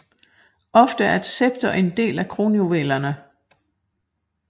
Ofte er et scepter en del af kronjuvelerne